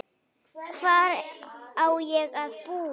Hvar á ég að búa?